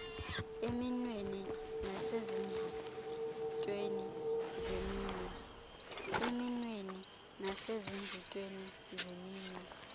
eminweni nasezinzitsheni zeminwe